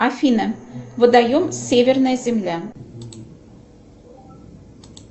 афина водоем северная земля